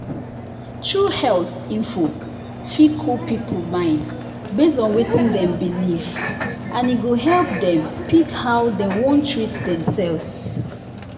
true health info fit cool people mind based on wetin dem believe and e go help dem pick how dem wan treat themselves.